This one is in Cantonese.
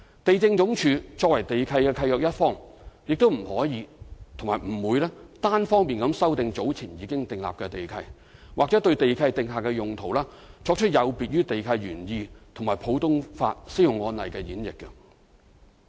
地政總署作為地契的契約一方，不可亦不會單方面修訂早前已訂立的地契，或對地契訂下的用途作出有別於地契原意和普通法適用案例的演繹。